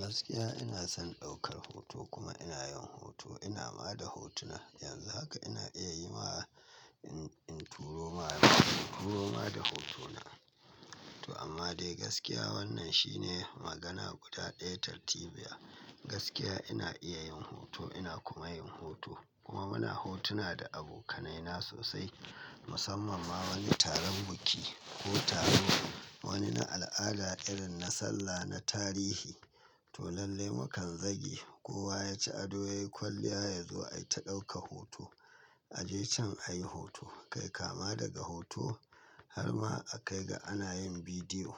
Gaskiya ina son ɗaukar hoto kuma ina yin hoto. Ina ma da hotuna. Yanzun haka ina iya yi ma in turo ma, turo ma da hoto na. Toh amma dai gaskiya wannan shine magana guda ɗaya. Tartibiya gaskiya ina iya yin hoto ina kuma yin hoto kuma muna hotuna da abokanai na sosai. Mussamman ma wani taron biki ko taro wani na al'ada irin na sallah na tarihi. Toh lallai mu kan zage kowa ya ci ado yayi kwalliya ya zo a ita dauka hoto. A je can a yi hoto kai kama daga hoto har ma a kai ga ana yin bidiyo.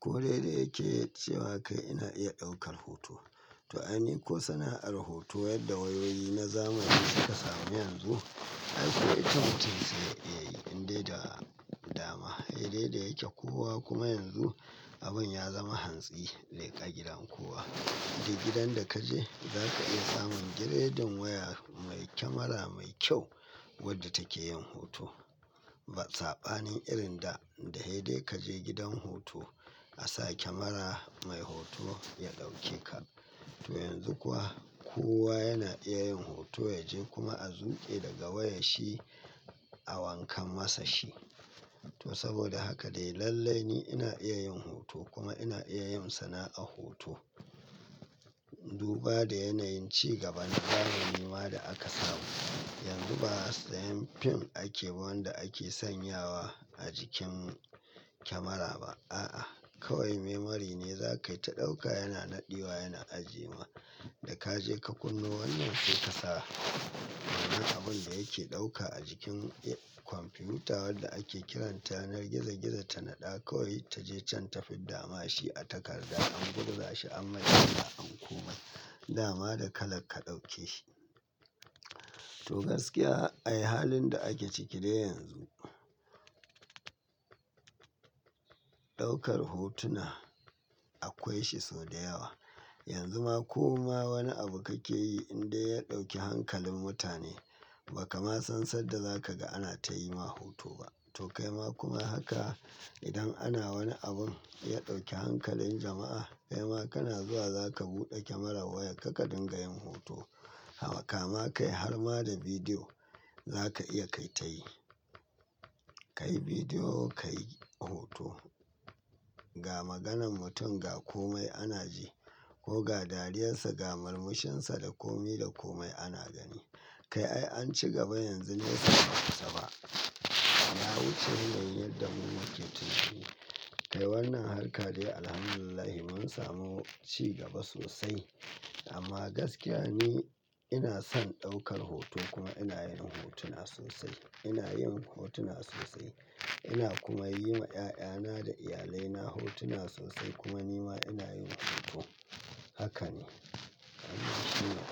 Ko, dai dai yake cewa kai ina iya ɗaukar hoto. To, ai ni ko sana'ar hoto yadda wayoyi na zamani suka samu yanzu ai ko ita mutum sai ya iya yi in dai da dama. Sai dai yake kowa kuma yanzu abin ya zama hantsi leƙa ƙagidan kowa. Dai gidan da ka je za ka iya samun giredin waya mai kyamara mai kyau wadda take yin hoto. Ba tsabani irin da dai dai ka je gidan hoto a sa kyamara mai hoto ya ɗauke ka. To yanzu kuwa kowa yana iya yin hoto ya je kuma a zuƙe daga wayar shi a wankan masa shi. To saboda haka dai lallai ni ina iya yin hoto kuma ina iya yin sana'a hoto. Duba da yanayin ci gaba na zamani ma da aka samu. Yanzu ba sayen fim ake ba ake sanyawa a jikin kyamara ba. A'a kawai memory ne za ka yi ta ɗauka yana naɗewa yana ajiye ma. Da ka je ka kunno wannan sai ka sa. Wannan abin da yake ɗauka a jikin kwamfiyuta wadda ake kiranta yanar gizo gizo ta naɗa kawai ta je can ta fidda ma shi a takarda an gurza shi an maida shi an kuma dama da kalar ka ɗauke shi. To gaskiya ai halin da ake ciki dai yanzu. Ɗaukar hotuna akwai shi sau da yawa. Yanzu ma ko ma wani abu kake yi in dai ya ɗauki hankalin mutane ba kama san sanda za ka ga ana tayi ma hoto ba. To kaima kuma haka idan ana wani abin ya ɗauki hankalin jama'a kaima kana zuwa za ka buɗe kyamarar wayarka ka dinga yin hoto. Kama kai har ma da bidiyo za ka iya kai tayi. Kai bidiyo kai hoto. Ga maganan mutum ga komai ana ji ko ga dariyar sa ga murmushin sa da komi da komai ana gani. Kai ai an ci gaba yanzu nesa ba kusa ba. Ya wuce yanayin yadda mu muke tunani. Kai wannan harka dai Alhamdulillah mun samu ci gaba sosai amma gaskiya ni ina son ɗaukar hoto kuma ina yin hotuna sosai. Ina yin hotuna sosai ina kuma yi ma 'ya'ya na da iyalai na hotuna sosai kuma ni ma ina yin hoto. Haka ne. Amma shi ma.